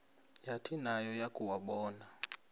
yathi nayo yakuwabona